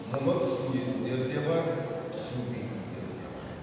мұны түсінетіндер де бар түсінбейтіндер де бар